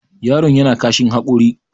yaro yana kashin hakori